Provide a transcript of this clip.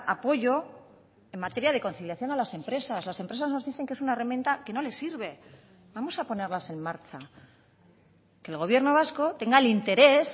apoyo en materia de conciliación a las empresas las empresas nos dicen que es una herramienta que no les sirve vamos a ponerlas en marcha que el gobierno vasco tenga el interés